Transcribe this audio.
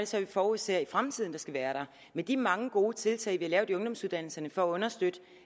så vi forudser i fremtiden skal være der med de mange gode tiltag vi har lavet i ungdomsuddannelserne for at understøtte